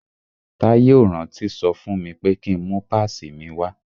Táyé ò rántí sọ fún mi pé ki ń mú pásìì mi wá.